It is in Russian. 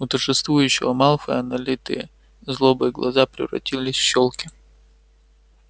у торжествующего малфоя налитые злобой глаза превратились в щёлки